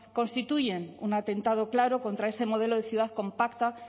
constituyen un atentado claro contra ese modelo de ciudad compacta